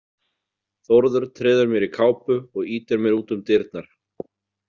Þórður treður mér í kápu og ýtir mér út um dyrnar.